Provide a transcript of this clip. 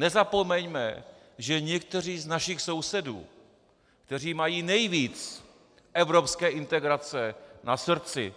Nezapomeňme, že někteří z našich sousedů, kteří mají nejvíc evropské integrace na srdci